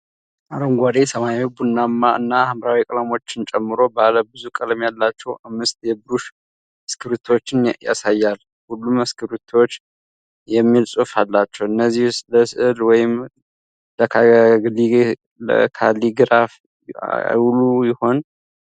አረንጓዴ፣ ሰማያዊ፣ ቡናማ እና ሐምራዊ ቀለሞችን ጨምሮ ባለ ብዙ ቀለም ያላቸው አምስት የብሩሽ እስክሪብቶዎችን ያሳያል። ሁሉም እስክሪብቶዎች "Washable Ink" የሚል ጽሑፍ አላቸው፤ እነዚህ ለሥዕል ወይም ለካሊግራፊ አይውሉ ይሆን?